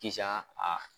Kisan a